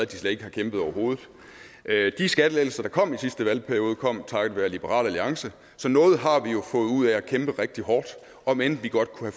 de slet ikke kæmpede overhovedet de skattelettelser der kom i sidste valgperiode kom takket være liberal alliance så noget har vi jo fået ud af at kæmpe rigtig hårdt om end vi godt kunne